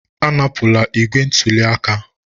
Anapụla igbe ntụli aka!